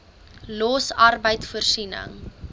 los arbeid voorsiening